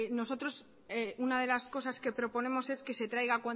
nosotros una de las cosas que proponemos es que se traiga